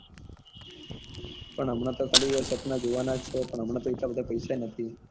પણ હમણાં તો ખાલી સપના જોવા ના છે હમણાં તો એટલા બધા પૈસા નથી